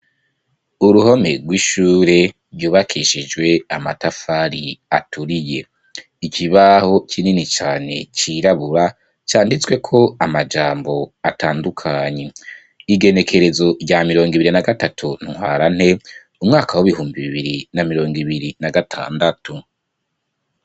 Uruhome rw'ishure, ryubakishijwe amatafari aturiye; ikibaho kinini cane, cirabura, canditsweko amajambo atandukanye: " igenekerezo rya mirongo ibiri na gatutu, ntwarante, umwaka w'ibihumbi bibiri, na mirongo ibiri na gatandatu".